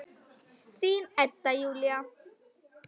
Þín Edda Júlía.